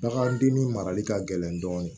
Bagandennin marali ka gɛlɛn dɔɔnin